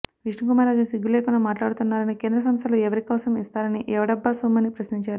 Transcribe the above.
విష్ణుకుమార్ రాజు సిగ్గు లేకుండా మాట్లాడుతున్నారని కేంద్ర సంస్థలు ఎవరి కోసం ఇస్తారని ఎవడబ్బ సొమ్మని ప్రశ్నించారు